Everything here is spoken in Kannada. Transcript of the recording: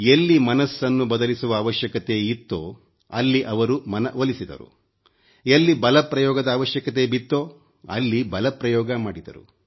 ಎಲ್ಲಿ ಮನಸ್ಸನ್ನು ಬದಲಿಸುವ ಅವಶ್ಯಕತೆ ಇತ್ತೋ ಅಲ್ಲಿ ಅವರು ಮನ ಒಲಿಸಿದರು ಎಲ್ಲಿ ಬಲಪ್ರಯೋಗದ ಅವಶ್ಯಕತೆ ಬಿತ್ತೋ ಅಲ್ಲಿ ಬಲಪ್ರಯೋಗ ಮಾಡಿದರು